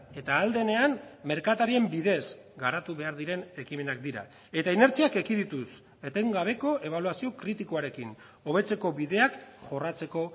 eta ahal denean merkatarien bidez garatu behar diren ekimenak dira eta inertziak ekidituz etengabeko ebaluazio kritikoarekin hobetzeko bideak jorratzeko